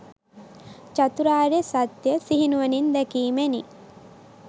චතුරාර්ය සත්‍යය සිහිනුවණින් දැකීමෙනි.